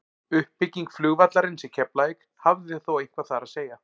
uppbygging flugvallarins í keflavík hafði þó eitthvað þar að segja